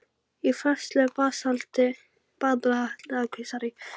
Í flestu basalti er nokkuð um díla.